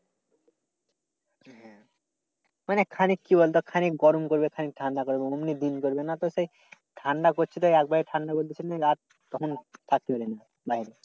মানে খানিক কি বলতো খানিক গরম করবে খানিক ঠান্ডা করবে সেই ঠান্ডা করছে তো একবারে ঠান্ডা করছে রাত তখন থাকতে পারে না বাইরে।